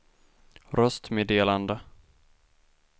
röstmeddelande